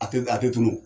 A tɛ a tɛ tunun